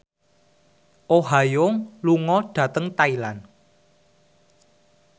Oh Ha Young lunga dhateng Thailand